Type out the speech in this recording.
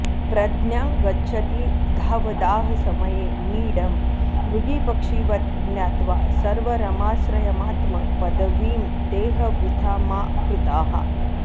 प्रज्ञां गच्छति धावदाह समये नीडं मृगीपक्षिवत् ज्ञात्वा सर्वरमाश्रयमात्म पदवीं देह वृथा मा कृताः